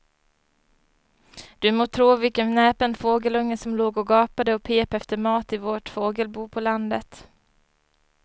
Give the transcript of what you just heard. Du må tro vilken näpen fågelunge som låg och gapade och pep efter mat i vårt fågelbo på landet.